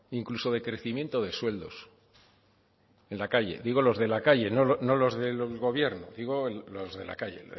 incluso de crecimiento de sueldos en la calle digo los de la calle no los del gobierno digo los de la calle